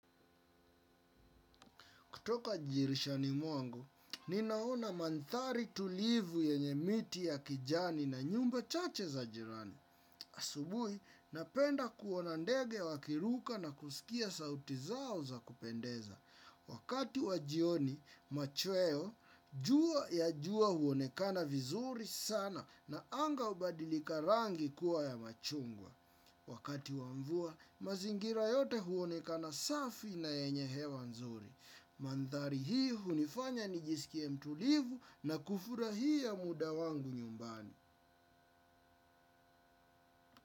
Kutoka dirishani mwangu, ninaona mandari tulivu yenye miti ya kijani na nyumba chache za jirani. Asubuhi, napenda kuona ndege wakiruka na kusikia sauti zao za kupendeza. Wakati wajioni, machweo, jua huonekana vizuri sana na anga ubadilika rangi kuwa ya machungwa. Wakati wamvua, mazingira yote huonekana safi na yenye hewa nzuri. Mandhari hii hunifanya ni jisikie mtulivu na kufurahia muda wangu nyumbani.